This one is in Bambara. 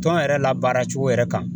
Tɔn yɛrɛ labaara cogo yɛrɛ kan .